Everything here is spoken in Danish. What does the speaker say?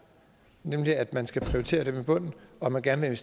nemlig at man skal prioritere dem i bunden og at man gerne